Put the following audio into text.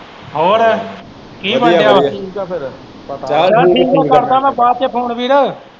ਹੋਰ ਕੀ ਬਣਨ ਦਿਆ ਫੇਰ ਵਧੀਆ ਵਧੀਆ ਠੀਕ ਆ ਫੇਰ ਪਤਾ ਨਹੀਂ ਚਲ ਠੀਕ ਆ ਕਰਦਾ ਮੈਂ ਬਾਅਦ ਚ phone ਵੀਰ।